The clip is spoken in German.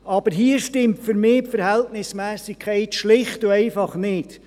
Aber hier stimmt für mich die Verhältnismässigkeit schlicht und einfach nicht.